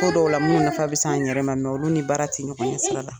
Ko dɔw la. Minnu nafa bi s'an yɛrɛ ma olu ni baara ti ɲɔgɔn ɲɛ sira la.